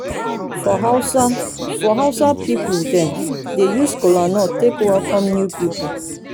for hausa for hausa pipol dem dey use kolanut take welkom new pipol